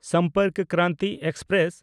Sampark Kranti express